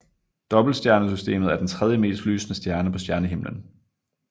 Dobbeltstjernesystemet er den tredjemest lysende stjerne på stjernehimmelen